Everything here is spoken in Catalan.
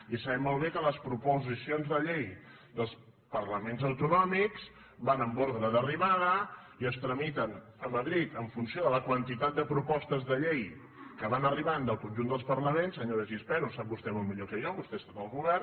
i sabem molt bé que les proposicions de llei dels parla·ments autonòmics van en ordre d’arribada i es tramiten a madrid en funció de la quantitat de propostes de llei que van arribant del conjunt dels parlaments senyora gispert ho sap vostè molt millor que jo vostè ha estat al govern